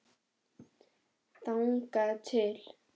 Þangað til.